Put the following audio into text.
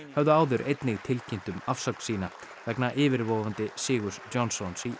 höfðu áður einnig tilkynnt um afsögn sína vegna yfirvofandi sigurs Johnsons í